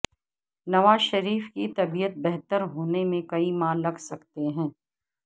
نواز شریف کی طبیعت بہتر ہونے میں کئی ماہ لگ سکتے ہیں